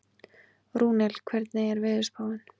Rúnel, hvernig er veðurspáin?